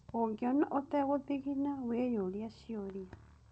Ũngiona ũtegũthigina wĩyũrie ciũria